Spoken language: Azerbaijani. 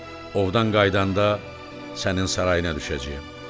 Ovdan qayıdanda sənin sarayına düşəcəyəm.